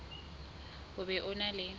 o be o na le